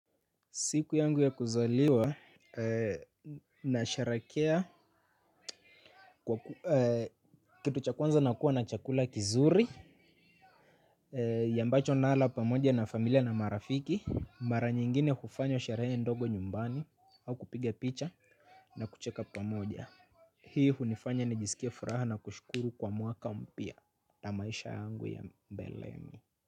Siku yangu ya kuzaliwa na sharekea kitu cha kwanza nakuwa na chakula kizuri yambacho nala pamoja na familia na marafiki mara nyingine hufanya sherehe ndogo nyumbani au kupiga picha na kucheka pamoja. Hii hunifanya nijisikie furaha na kushukuru kwa mwaka mpya na maisha yangu ya mbeleni.